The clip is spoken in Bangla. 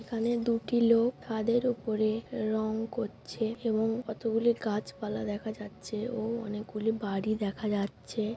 এখানে দুটি লোক ছাদের ওপরে রং করছে এবং কতগুলি গাছপালা দেখা যাচ্ছে ও অনেকগুলি বাড়ি দেখা যাচ্ছে।